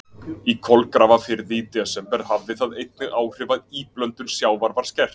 Í Kolgrafafirði í desember hafði það einnig áhrif að íblöndun sjávar var skert.